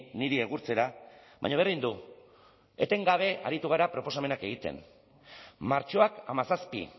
niri egurtzera baina berdin du etengabe aritu gara proposamenak egiten martxoak hamazazpi